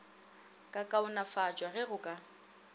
ka kaonafatšwa ge go ka